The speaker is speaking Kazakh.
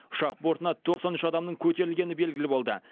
ұшақ бортына тоқсан үш адамның көтерілгені белгілі болды